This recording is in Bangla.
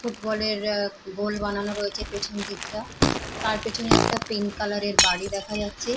ফুটবলের অ্যা গোল বানানো রয়েছে পেছন দিকটা তার পেছন একটা পিংক কালারের বাড়ি দেখা যাচ্ছে।